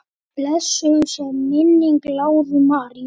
Blessuð sé minning Láru Maríu.